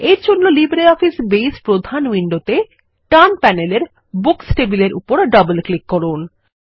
এরজন্য LibreOffice Base প্রধান উইন্ডোতে ডান প্যানেলের বুকস টেবিলের উপরডবল ক্লিক করুন